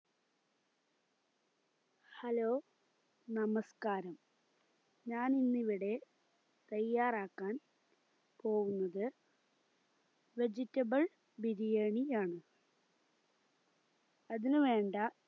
hello നമസ്‌കാരം ഞാനിന്നിവിടെ തയ്യാറാക്കാൻ പോകുന്നത് vegetable ബിരിയാണി ആണ് അതിനുവേണ്ട